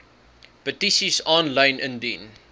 petisies aanlyn indien